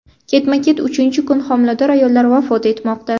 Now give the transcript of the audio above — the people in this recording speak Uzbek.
Ketma-ket uchinchi kun homilador ayollar vafot etmoqda.